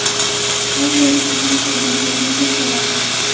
Angliyalik qizning tug‘ilgan kuniga pul sovg‘a qilishdi.